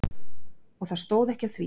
Og það stóð ekki á því.